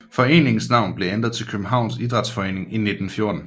Foreningens navn blev ændret til Københavns Idræts Forening i 1914